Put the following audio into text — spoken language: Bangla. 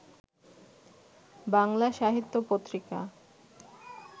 বাংলা সাহিত্য পত্রিকা